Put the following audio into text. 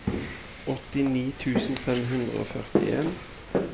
åttini tusen fem hundre og førtien